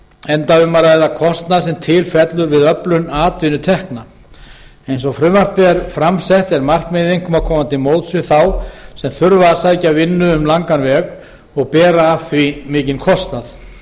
enda um að ræða kostnað sem til fellur við öflun atvinnutekna eins og frumvarpið er fram sett er markmiðið einkum að koma til móts við þá sem þurfa að sækja vinnu um langan veg og bera af því mikinn kostnað